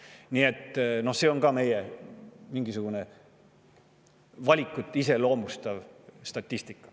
Nii et see on ka meie valikuid iseloomustav statistika.